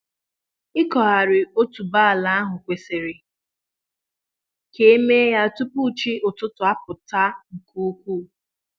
ịkụghari otuboala kwesịrị ka eme ya tupu chi ụtụtụ apụta nke ukwu